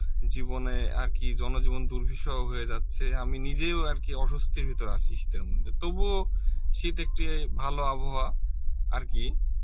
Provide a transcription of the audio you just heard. জীবনে আর কি জনজীবন দূর্বিষহ হয়ে যাচ্ছে আমি নিজেও আর কি অস্বস্তির ভেতর আছি শীতের মদ্ধ্যে, তবুও শীত একটি ভালো আবহাওয়া আর কি